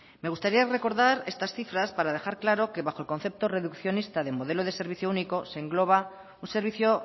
me gustaría recordar estas cifras para dejar claro que bajo el concepto reduccionista del modelo de servicio único se engloba un servicio